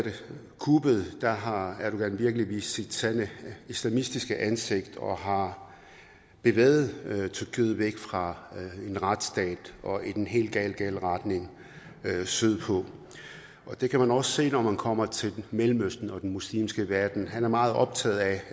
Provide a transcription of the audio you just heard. kuppet har erdogan virkelig vist sit sande islamistiske ansigt og har bevæget tyrkiet væk fra en retsstat og i den helt helt gale retning sydpå det kan man også se når man kommer til mellemøsten og den muslimske verden han er meget optaget af